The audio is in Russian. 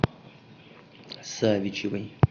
савичевой